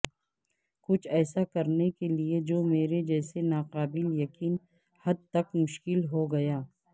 کچھ ایسا کرنے کے لئے جو میرے جیسے ناقابل یقین حد تک مشکل ہو گا